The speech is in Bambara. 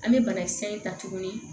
An bɛ banakisɛ in ta tuguni